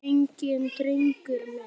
Undrast enginn, drengur minn.